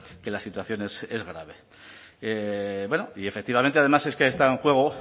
que la situación es grave bueno y efectivamente además es que está en juego